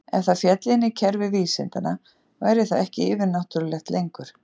Ef það félli inn í kerfi vísindanna væri það ekki yfir-náttúrulegt lengur.